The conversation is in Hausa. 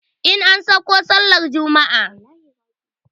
In an sauko sallar juma'a